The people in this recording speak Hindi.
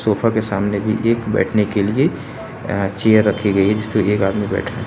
सोफ़ा के सामने भी एक बैठने के लिए अ चेयर रखी गई है जिसपे की एक आदमी बैठा है।